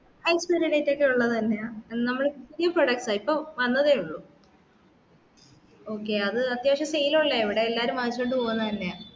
expire date ഒക്കേ ഉള്ളതു തന്നെയാ നമ്മളു പുതിയ products ആ ഇപ്പോ വന്നതേ ഉള്ളു okay അതു അത്യാവശ്യം sale ഉള്ളതാ ഇവിടെ എല്ലാരും വാങ്ങിച്ചോണ്ട് പോവുന്നെ തന്നെയാ